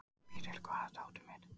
Peter, hvar er dótið mitt?